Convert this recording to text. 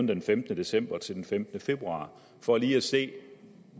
den femtende december til den femtende februar for lige at se